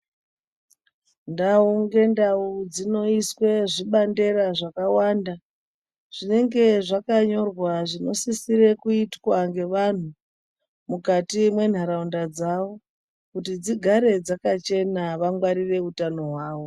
Ndau ngendau dzinoiswe zvibandera zvakawanda zvinenge zvakanyorwa zvinosisore kuitwa ngevanhu mukati menharaunda dzawo Kuti dzigare dzakachena vangwarire utano hwawo.